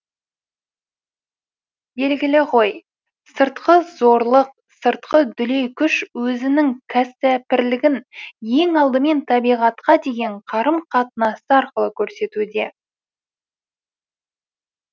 белгілі ғой сыртқы зорлық сыртқы дүлей күш өзінің кісәпірлігін ең алдымен табиғатқа деген қарым қатынасы арқылы көрсетуде